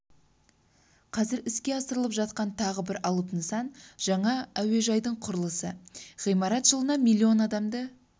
қазір іске асырылып жатқан тағы бір алып нысан жаңа әуежайдың құрылысы ғимарат жылына миллион адамды